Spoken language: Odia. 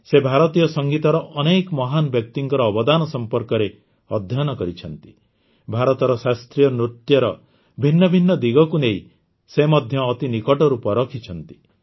ସେ ଭାରତୀୟ ସଂଗୀତର ଅନେକ ମହାନ ବ୍ୟକ୍ତିଙ୍କର ଅବଦାନ ସମ୍ପର୍କରେ ଅଧ୍ୟୟନ କରିଛନ୍ତି ଭାରତର ଶାସ୍ତ୍ରୀୟ ନୃତ୍ୟର ଭିନ୍ନ ଭିନ୍ନ ଦିଗକୁ ନେଇ ମଧ୍ୟ ସେ ଅତି ନିକଟରୁ ପରଖିଛନ୍ତି